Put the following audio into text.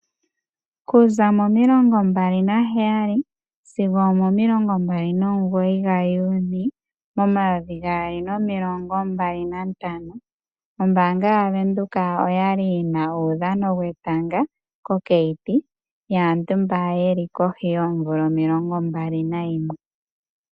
Okuza Mo 27 sigo Mo 29 Juni 2025 ombanga yavenduka oyali yina uudhano wetanga kokayiti yaantu mba yeli kohi yoomvula 21.